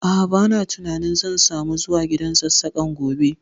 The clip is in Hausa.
A'a, ba na tunanin zan samu zuwa gidan Sassaƙan gobe